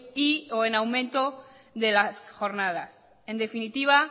y o en aumento de las jornadas en definitiva